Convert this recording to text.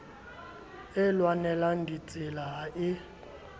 e lwanelang ditsela ha e